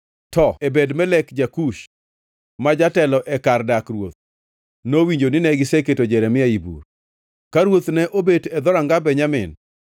To Ebed-Melek, ja-Kush, ma jatelo e kar dak ruoth, nowinjo nine giseketo Jeremia ei bur. Ka ruoth ne obet e Dhoranga Benjamin,